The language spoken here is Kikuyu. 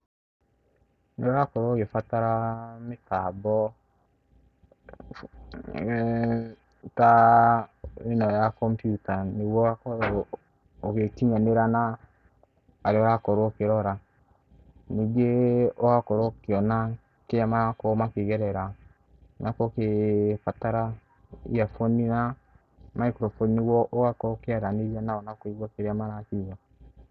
Nĩũrakorwo ũgĩbatara aa mĩtambo f eee ta aa ĩno ya computer nĩgũo ũgakorwo ũgĩkinyanĩra na arĩa ũrakorwo ũkĩrora, ningĩ ĩĩ ũgakorwo ũkĩona kĩrĩa marakorwo makĩgerera, na ũrakorwo ũkĩ ĩĩ ũgĩbatara earphone na microphone nĩgũo ũgakorwo ũkĩaranĩria nao na kũigũa kĩrĩa marakiũga.